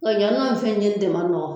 Nka yan nɔ fɛn ɲini de man nɔgɔn